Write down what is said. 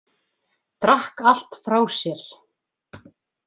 Drakk allt frá sér.